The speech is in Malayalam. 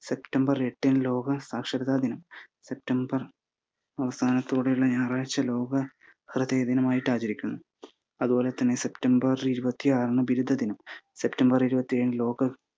സെപ്റ്റംബർ എട്ടിന് ലോക സാക്ഷരതാ ദിനം, സെപ്റ്റംബർ അവസാനത്തോടെയുള്ള ഞായറാഴ്ച ലോക ഹൃദയ ദിനവായിട്ട് ആചരിക്കുന്നു. അതുപോലെ തന്നെ സെപ്റ്റംബർ ഇരുപത്തിയാറിന് ബിരുദ ദിനം, സെപ്റ്റംബർ ഇരുപത്തിയേഴ് ലോക